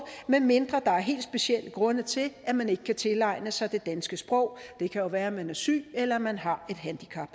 medmindre der er helt specielle grunde til at man ikke kan tilegne sig det danske sprog det kan være at man er syg eller man har et handicap